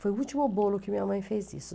Foi o último bolo que minha mãe fez isso.